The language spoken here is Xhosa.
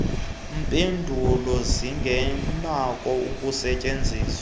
mpendulo zingenakho ukusetyenzwa